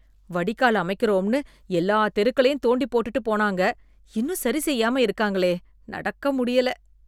வடிகால் அமைக்கறோம்னு எல்லா தெருக்களையும் தோண்டிப் போட்டுட்டு போனாங்க... இன்னும் சரிசெய்யாம இருக்காங்களே...நடக்க முடியல